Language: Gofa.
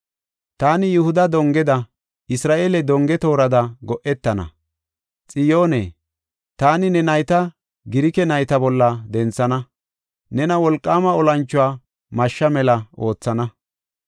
Taani Yihuda dongeda, Isra7eele donge toorada go7etana. Xiyoone, taani ne nayta Girike nayta bolla denthana; nena wolqaama olanchuwa mashshaa mela oothana.